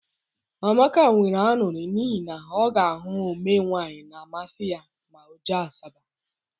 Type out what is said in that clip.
Amaka nwere añụrị n'ihi na ọ ga ahụ omee nwaanyị na amasi ya ma ọ jee Asaba.